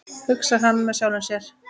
hugsar hann með sjálfum sér.